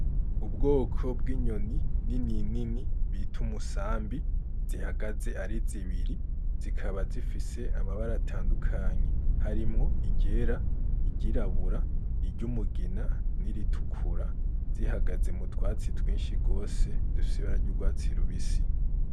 Ubwoko bw'inyoni nini nini bita umusambi zihagaze ari zibiri zikaba zifise amabara atandukanye harimwo iryera, iryirabura, iry'umugina n'iritukura zihagaze mu twatsi twinshi gose dufise ibara ry'urwatsi rubisi.